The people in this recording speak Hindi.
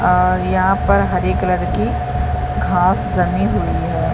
अ यहाँ पर हरे कलर की घास जमी हुई हैं ।